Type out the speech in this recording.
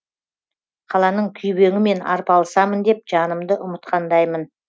қаланың күйбеңімен арпалысамын деп жанымды ұмытқандаймын